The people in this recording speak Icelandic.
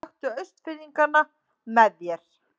Taktu Austfirðingana með þér!